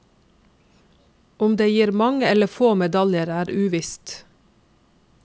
Om det gir mange eller få medaljer er uvisst.